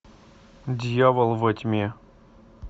дьявол во тьме